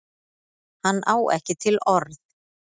Hann á ekki til orð.